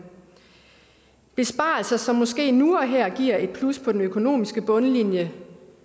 besparelser som måske nu og her giver et plus på den økonomiske bundlinje